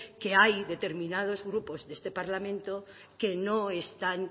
que hay determinados grupos de este parlamento que no están